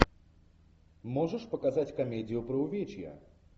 можешь показать комедию про увечья